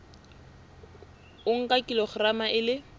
o nka kilograma e le